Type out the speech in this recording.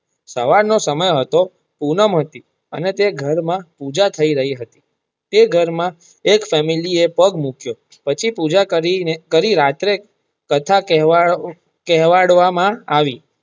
સવાર નો સમય હતો પૂનમ હતી અને તે ઘર માં પૂજા થઇ રહી હતી તે ઘર માં એક ફેમિલી એ પગ મુકીયો પછી પુંજા કરી રાત્રે કથા કહેવડાવા માં આવી.